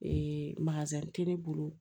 Ee tɛ ne bolo